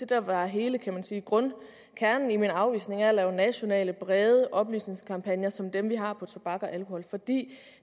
der var hele kan man sige grundkernen i min afvisning af at lave nationale brede oplysningskampagner som dem vi har lavet tobak og alkohol fordi